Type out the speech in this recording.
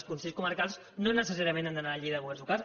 els consells comarcals no necessàriament han d’anar a la llei de governs locals